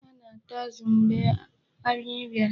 Ha na-ata azụ mgbe anyị bịara.